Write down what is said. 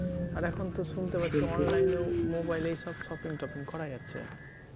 আর এখন তো শুনতে পাচ্ছি online এও mobile এই সব shopping টপিং করা যাচ্ছে